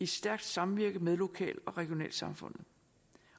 stærkt samvirke med lokal og regionalsamfundet